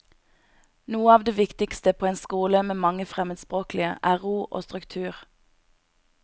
Noe av det viktigste på en skole med mange fremmedspråklige, er ro og struktur.